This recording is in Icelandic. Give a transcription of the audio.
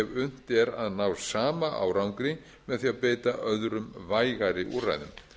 unnt er að ná sama árangri með því að beita öðrum vægari úrræðum